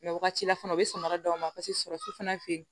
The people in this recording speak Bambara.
wagati la fana u bɛ samara d'aw ma paseke sɔrɔsi fana fe yen